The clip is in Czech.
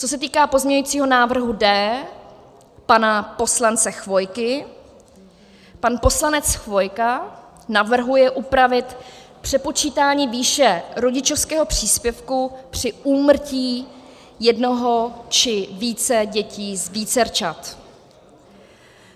Co se týká pozměňujícího návrhu D pana poslance Chvojky, pan poslanec Chvojka navrhuje upravit přepočítání výše rodičovského příspěvku při úmrtí jednoho či více dětí z vícerčat.